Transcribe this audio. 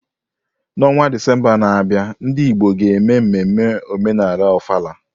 N'ọnwa Disemba na-abịa, ndị Igbo ga-eme mmemme omenala Ofala.